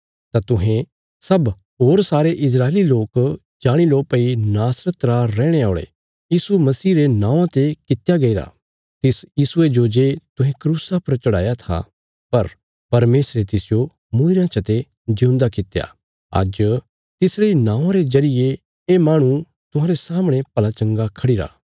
तां तुहें सब होर सारे इस्राएली लोक जाणी लो भई नासरत रा रैहणे औल़े यीशु मसीह रे नौआं ते कित्या गैईरा तिस यीशुये जो जे तुहें क्रूसा पर चढ़ाया था पर परमेशरे तिसजो मूईरेयां चते ज्यूंदा कित्या आज तिसरे इ नौआं रे जरिये ये माहणु तुहांरे सामणे भलाचंगा खढ़िरा